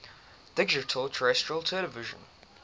digital terrestrial television